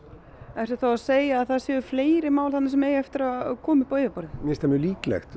ertu þá að segja að það séu fleiri mál þarna sem eiga eftir að koma upp á yfirborðið mér finnst það mjög líklegt